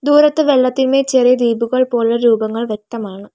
അപ്പുറത്ത് വെള്ളത്തിന്മേ ചെറിയ ദ്വീപുകൾ പോലെ രൂപങ്ങൾ വ്യക്തമാണ് .